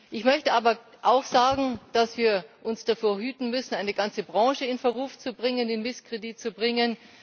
Ich möchte aber auch sagen, dass wir uns davor hüten müssen, eine ganze Branche in Verruf, in Misskredit zu bringen.